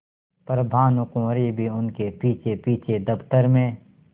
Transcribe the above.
पर भानुकुँवरि भी उनके पीछेपीछे दफ्तर में